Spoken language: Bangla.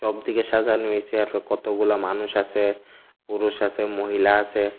উপরদিকে সাজানো হইসে আরো কতগুলা মানুষ আসে পুরুষ আসে মহিলা আসে ।